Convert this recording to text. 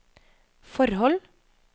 forhold